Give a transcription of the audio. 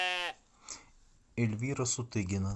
эльвира сутыгина